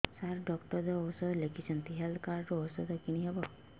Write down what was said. ସାର doctor ଔଷଧ ଲେଖିଛନ୍ତି health card ରୁ ଔଷଧ କିଣି ହେବ